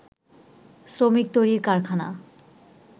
শ্রমিক তৈরির কারখানা